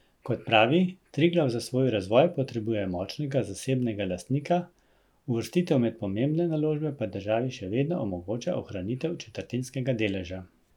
Kot pravi, Triglav za svoj razvoj potrebuje močnega zasebnega lastnika, uvrstitev med pomembne naložbe pa državi še vedno omogoča ohranitev četrtinskega deleža.